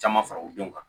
Caman fara u denw kan